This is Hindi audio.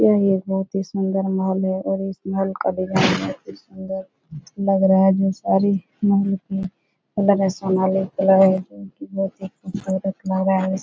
यह एक बोहोत ही सुन्दर मॉल है और इस मॉल का डिजाईन बोहोत ही सुन्दर लग रहा है जो सारी मेहनत में लग रहा है इस --